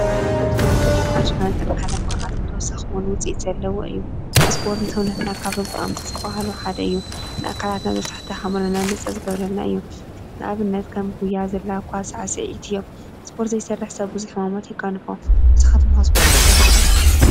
ስፖርት ማለት ናይ ባዕሉ ዝኮነ ዘለዎ እዩናይ ባዕሉ ዝኮነ ኣካላዊ ትሕዝቶ ኣለዎ፡፡ ስፖርት ካብቶም ጠቀምቲ ዝበሃሉ ሓደ እዩ፡፡ ስፖርት ስፖርት ዘይ ሰርሕ ሰብ ቡዝሕ ሕማማት የጋጥሞ ንስካትኩም ከ ስፖርት ትሰርሑ ዶ ?